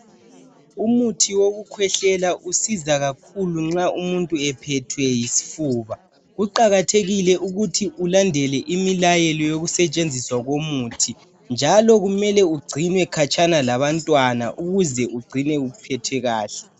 Umuthi woku khwehlela usiza kakhulu nxa umuntu ephethwe yisifuba, kuqakathekile ukuthi ulandele imilayelo yoku setshenziswa komuthi njalo kumele ugcinwe khatshana labantwana ukuze ugcine uphethe kahle.